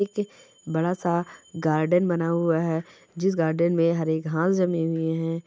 एक बड़ा सा गार्डन बना हुआ है जिस गार्डन में हरे घास जमे हुए है।